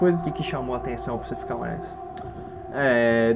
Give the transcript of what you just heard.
O que que chamou a atenção para você ficar mais? Eh